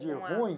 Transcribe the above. De ruim?